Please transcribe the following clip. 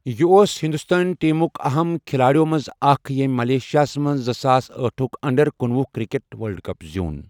یہِ اوس ہندوستٲنی ٹیمٕک اَہَم کِھلٲڑٮ۪و منٛز اکھ ییٚمۍ ملائیشیاہَس منٛز زٕساس أٹھ ٹھُک انڈر کنُۄہ کرکٹ ورلڈ کپ زیوٗن۔